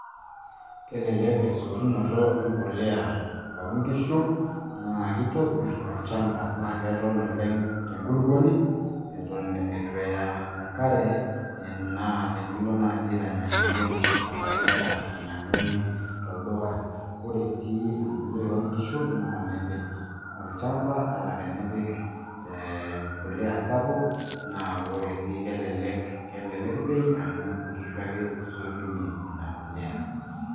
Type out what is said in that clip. kelelek esotunoto empuliya oo nkishu, naa kitopir olchampa naa kelek oleng' te nkulupuoni eton eitu eya enkare ena, naa tenilo naaji aitanyanyukie inoshi fertilizer nainyiang'uni tolduka. ore sii empuliya oo nkishu naa mepej olchampa. ata tenipik empuliya sapuk, naa ore sii kelek bei amu inkishu ake isotunye ina puliya.